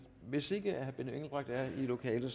hvis ikke herre benny engelbrecht er i lokalet